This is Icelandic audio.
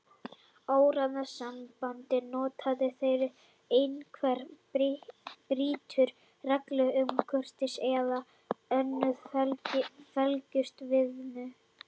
Orðasambandið er notað þegar einhver brýtur reglur um kurteisi eða önnur félagsleg viðmið.